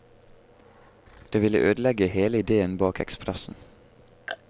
Det ville ødelegge hele idéen bak ekspressen.